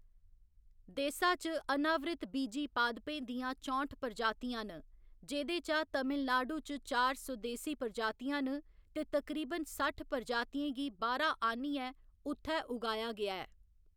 देसा च अनावृतबीजी पादपें दियां चौंठ प्रजातियां न, जेह्‌दे चा तमिलनाडु च चार स्वदेसी प्रजातियां न ते तकरीबन सट्ठ प्रजातियें गी बाह्‌‌रा आह्‌‌‌न्नियै उत्थै उगाया गेआ ऐ।